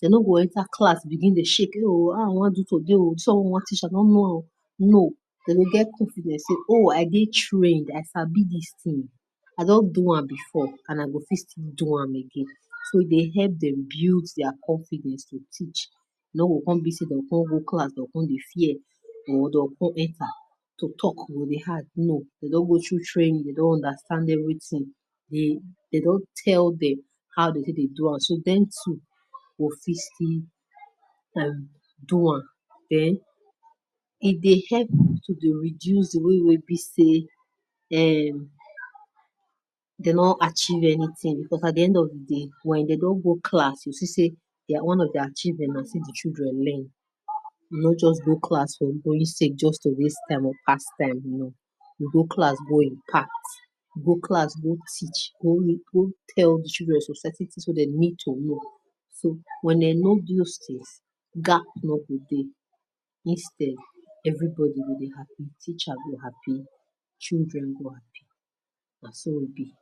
Dem no go enter class begin dey shake no oo how I wan do am today o something I wan teach I no know o no Dem go get confidence say I dey trained I sabi dis thing I don do am before and I go still fit do am again so e dey help dem build their confidence to teach go go class dey fear or to con enter to talk e go dey hard no Dem con go through training dey don understand everything dey don tell them how dey take dey do am e dey help to dey reduce di one wey be say um Dem no achieve anything cause at the end of di day wen don go class you go see say nah their one of their children learn no just go class for going sake no just waste time or pass time no you go class go impact go class go teach no go go tell di children some certain things wey Dem need to know instead everybody go dey happy, Teacher go happy children go happy na so e be